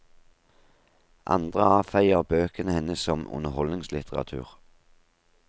Andre avfeier bøkene hennes som underholdningslitteratur.